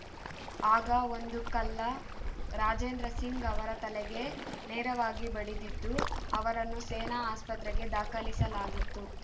ಆಗ ಒಂದು ಕಲ್ಲ ರಾಜೇಂದ್ರ ಸಿಂಗ್‌ ಅವರ ತಲೆಗೆ ನೇರವಾಗಿ ಬಡಿದಿದ್ದು ಅವರನ್ನು ಸೇನಾ ಆಸ್ಪತ್ರೆಗೆ ದಾಖಲಿಸಲಾಗಿತ್ತು